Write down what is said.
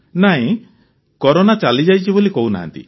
ନାହିଁ କରୋନା ଚାଲିଯାଇଛି ବୋଲି କହୁନାହାନ୍ତି